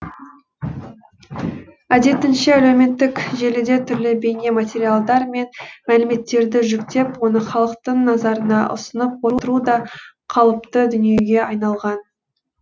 әдетінше әлеуметтік желіде түрлі бейне материалдар мен мәліметтерді жүктеп оны халықтың назарына ұсынып отыру да қалыпты дүниеге айналған